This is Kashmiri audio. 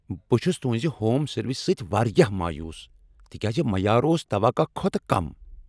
بہٕ چھس تہنٛز ہوم سروس سۭتۍ واریاہ مایوس تکیاز معیار اوس توقع کھۄتہٕ کم۔